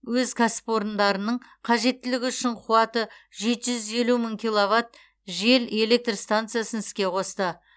өз кәсіпорындарының қажеттілігі үшін қуаты жеті жүз елу мың киловатт жел электр станциясын іске қосты